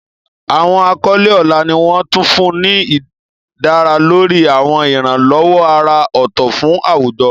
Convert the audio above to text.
Àwọn àkọlé ọlá ni wọ́n tún fún ní dá lórí àwọn ìrànwọ́ àrà ọ̀tọ̀ fún àwùjọ.